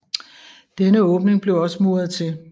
Denne åbning blev også muret til